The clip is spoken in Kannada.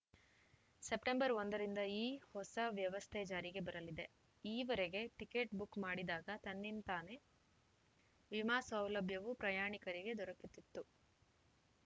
ಸೆಪ್ಟೆಂಬರ್ ಒಂದರಿಂದ ಈ ಹೊಸ ವ್ಯವಸ್ತೆ ಜಾರಿಗೆ ಬರಲಿದೆ ಇವರೆಗೆ ಟೀಕೆಟ್ ಬುಕ್ ಮಾಡಿದಾಗ ತನ್ನಂತಾನೇ ವಿಮಾ ಸೌಲಭ್ಯವು ಪ್ರಯಾಣಿಕರಿಗೆ ದೊರಕುತ್ತಿತ್ತು